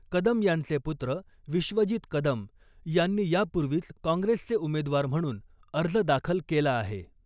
कदम यांचे पुत्र विश्वजीत कदम यांनी यापूर्वीच काँग्रेसचे उमेदवार म्हणून अर्ज दाखल केला आहे .